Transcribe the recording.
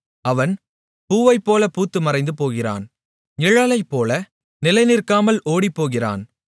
அவன் பூவைப்போலப் பூத்துமறைந்து போகிறான் நிழலைப்போல நிலைநிற்காமல் ஓடிப்போகிறான்